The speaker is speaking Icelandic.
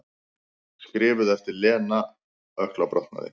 Skrifuð eftir að Lena ökklabrotnaði.